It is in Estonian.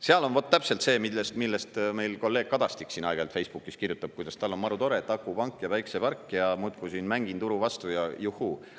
Seal on vot täpselt see, millest meil kolleeg Kadastik siin aeg-ajalt Facebookis kirjutab, kuidas tal on marutore, et akupank ja päikesepark ja muudkui siin mängin turu vastu ja juhhuu.